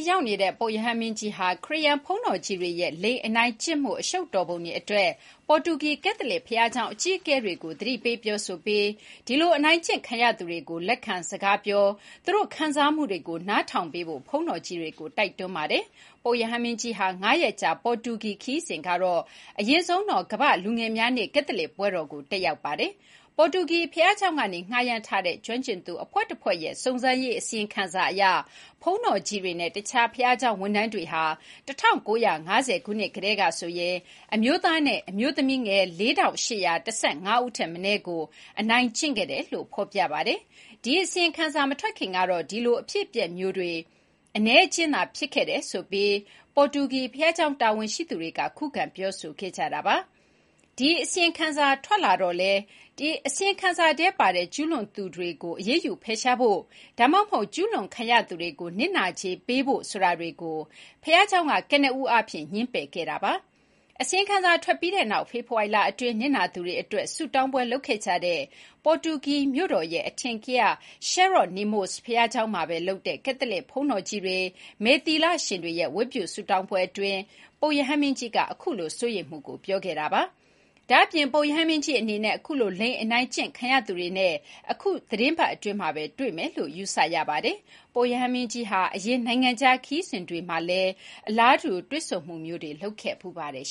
ရောက်နေတဲ့ ပုပ်ရဟန်းမင်းကြီးဟာ ခရစ်ယာန်ဘုန်းတော်ကြီးတွေရဲ့ လိင်အနိုင်ကျင့်မှု အရှုပ်တော်ပုံအတွေအတွက် ပေါ်တူဂီ ကတ်သလစ်ဘုရားကျောင်းအကြီးအကဲတွေကို သတိပေးပြောဆိုပြီး ဒီလို အနိုင်ကျင့်ခံရသူတွေကို လက်ခံစကားပြော သူတို့ခံစားမှုတွေကို နားထောင်ပေးဖို့ ဘုန်းတော်ကြီးတွေကို တိုက်တွန်းပါတယ်။ ပုပ်ရဟန်းမင်းကြီးရဲ့ ၅ ရက်ကြာ ပေါ်တူကီခရီးစဉ်မှာ အရင်ဆုံးတော့ ကမ္ဘာ့လူငယ်များနေ့ ကတ်သလစ်ပွဲတော်ကို တက်ရောက်ပါတယ်။ ပေါ်တူကီဘုရားကျောင်းကနေ ငှားရမ်းထားတဲ့ ကျွမ်းကျင်သူအဖွဲ့တဖွဲ့ရဲ့ စုံစမ်းရေးအစီအရင်ခံစာအရ ဘုန်းတော်ကြီးတွေနဲ့ တခြားဘုရားကျောင်းဝန်ထမ်းတွေဟာ ၁၉၅၀ ခုနှစ်ကတည်းကဆိုရင် အမျိုးသားနဲ့အမျိုးသမီးငယ် ၄,၈၁၅ ဦးထက်မနည်းကို အနိုင်ကျင့်ခဲ့တယ်လို့ ဖော်ပြပါတယ်။ ဒီအစီရင်ခံစာမထွက်ခင် ကတော့ ဒီလိုအဖြစ်အပျက်မျိုးတွေ အနည်းအကျဉ်းသာဖြစ်ခဲ့တယ်ဆိုပြီး ပေါ်တူကီဘုရားကျောင်းတာဝန်ရှိသူတွေက ခုခံပြောဆိုခဲ့ကြတာပါ။ ဒီ အစီရင်ခံစာထွက်လာတော့လည်း အစီရင်ခံစာထဲပါတဲ့ ကျူးလွန်သူတွေကို အရေးယူဖယ်ရှားဖို့ ဒါမှမဟုတ် ကျူးလွန်ခံရသူတွေကို နစ်နာကြေးပေးဖို့ ဆိုတာတွေကို ဘုရားကျောင်းက ကနဦးအားဖြင့် ငြင်းပယ်ခဲ့ပါတယ်။ အစီရင်ခံစာထွက်ပြီးတဲ့နောက် ဖေဖော်ဝါရီလအတွင်း နစ်နာသူတွေအတွက် ဆုတေင်းပွဲလုပ်ခဲ့ကြတဲ့ ပေါ်တူကီမြို့တော်ရဲ့ အထင်ကရ Jeronimos ဘုရားကျောင်းမှာပဲလုပ်တဲ့ ကတ်သလစ်ဘုန်းတော်ကြီးတွေ၊ မယ်သီလရှင်တွေရဲ့ ဝတ်ပြုဆုတောင်းပွဲအတွင်း ပုပ်ရဟန်းမင်းကြီးက အခုလို စိုးရိမ်မှုကို ပြောခဲ့တာပါ။ ဒါ့အပြင် ပုပ်ရဟန်းမင်းကြီးအနေနဲ့ အခုလို လိင်အနိုင်ကျင့်ခံရသူတွေနဲ့ အခု အပတ်အတွင်းမှာပဲ တွေ့မယ်လို့ ယူဆရပါတယ်။ ပုပ်ရဟန်းမင်းကြီးဟာ အရင်နိုင်ငံခြားခရီးစဉ်တွေမှာလည်း အလားတူ တွေ့ဆုံမှုမျိုးတွေ လုပ်ခဲ့ဖူးပါတယ်